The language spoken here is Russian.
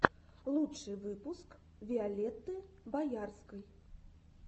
лучший выпуск виолетты боярской